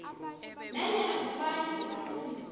nanyana ngubani umuntu